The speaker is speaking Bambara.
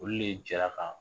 Olu de jɛra ka